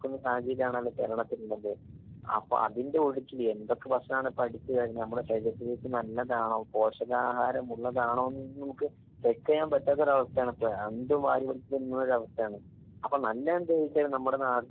സാഹചര്യമാണല്ലോ കേരളത്തിലുള്ളത്. അപ്പൊ അതിന്റെ ഒഴുക്കില് എന്തൊക്കെ ഭക്ഷണാണ് ഇപ്പൊ അടുത്ത് നമ്മുടെ ശരീരത്തിലേക്ക് നല്ലതാണോ പോഷകാഹാരം ഉള്ളതാണോ ന്നൊന്നും നമുക്ക് ചെക്കിയ്യാൻ പറ്റാത്തൊരു അവസ്ഥയാണ് ഇപ്പൊ ഇള്ളത്. എന്തും വാരി വലിച്ചു തിന്നുന്നൊരു അവസ്ഥയാണ് അപ്പൊ നല്ലതെന്തെന്നു വെച്ച് കഴിഞ്ഞാല് നമ്മുടെ നാടിന്റെ